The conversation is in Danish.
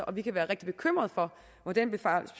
og vi kan være rigtig bekymrede for hvor den besparelse